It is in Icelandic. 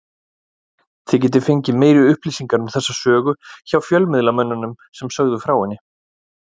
Þið getið fengið meiri upplýsingar um þessa sögu hjá fjölmiðlamönnunum sem sögðu frá henni.